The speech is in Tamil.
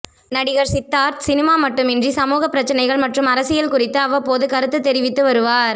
நடிகர் சித்தார்த் சினிமா மட்டுமின்றி சமூக பிரச்னைகள் மற்றும் அரசியல் குறித்து அவ்வப்போது கருத்து தெரிவித்து வருவார்